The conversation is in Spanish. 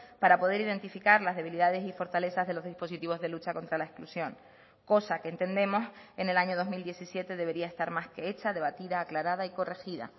para poder identificar las debilidades y fortalezas de los dispositivos de lucha contra la exclusión cosa que entendemos en el año dos mil diecisiete debería estar más que hecha debatida aclarada y corregida